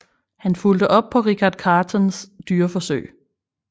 Han fulgte op på Richard Catons dyreforsøg